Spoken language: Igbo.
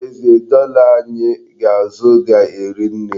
N'ezie, dọla anyị ga-azụ ga-eri nne.